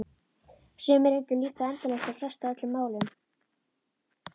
Sumir reyna líka endalaust að fresta öllum málum.